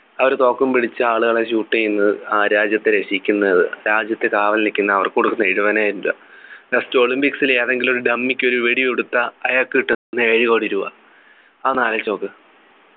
അവര് തോക്കും പിടിച്ചു ആളുകളെ shoot ചെയ്യുന്നത് അഹ് രാജ്യത്തെ രക്ഷിക്കുന്നത് രാജ്യത്ത് കാവൽ നിക്കുന്ന അവർക്ക് കൊടുക്കുന്ന എഴുപതിനായിരം രൂപ just olympics ൽ ഏതെങ്കിലും ഒരു dummy ഒരു വെടി കൊടുത്താ അയാൾക്ക് കിട്ടുന്ന ഏഴുകോടി രൂപ അതൊന്നു ആലോചിച്ചു നോക്ക്